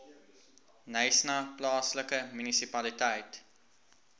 knysna plaaslike munisipaliteit